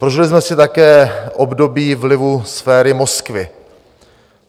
Prožili jsme si také období vlivu sféry Moskvy.